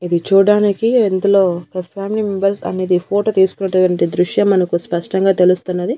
ఇది చూడ్డానికి ఇందులొ ఒక ఫ్యామిలీ మెంబర్స్ అనేది ఫోటో తీసుకున్నటువంటి దృశ్యం మనకి స్పష్టంగా తెలుస్తున్నది.